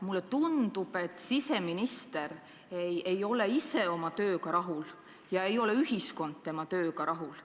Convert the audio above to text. Mulle tundub, et siseminister ei ole ise oma tööga rahul ja ka ühiskond ei ole tema tööga rahul.